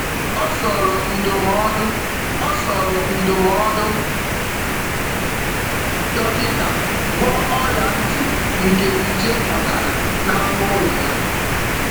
Ọ soro ndụmọdụ Ọ soro ndụmọdụ dọkịta gwọọ ọrịa ntị nke nje kpatara na anụ ụlọ ya.